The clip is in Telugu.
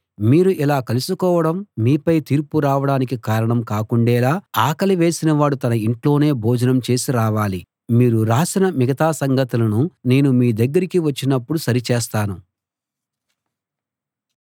మీరు ఇలా కలుసుకోవడం మీపై తీర్పు రావడానికి కారణం కాకుండేలా ఆకలి వేసినవాడు తన ఇంట్లోనే భోజనం చేసి రావాలి మీరు రాసిన మిగతా సంగతులను నేను మీ దగ్గరకి వచ్చినప్పుడు సరిచేస్తాను